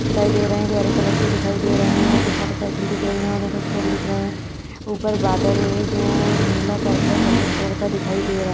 दिखाई दे रहे है जो हरे कलर के दिखाई दे रहे है और कुछ मोटर साइकल दिख रही है और ये कुछ लोग दिख रहे है ऊपर बादल है जो नीला पर्पल सफ़ेद कलर का दिखाई दे रहा--